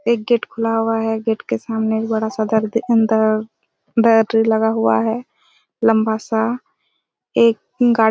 एक गेट खुला हुआ है गेट के सामने में बड़ा सा घर के अंदर बैटरी लगा हुआ है लंबा सा एक